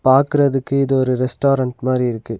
பாக்குறதுக்கு இது ஒரு ரெஸ்டாரன்ட் மாரி இருக்கு.